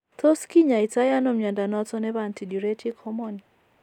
Tos kinyaai to ano mnyondo noton nebo antidiuretic hormone ?